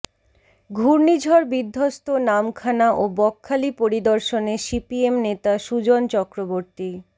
ঘূর্ণিঝড় বিধ্বস্ত নামখানা ও বকখালি পরিদর্শনে সিপিএম নেতা সুজন চক্রবর্তী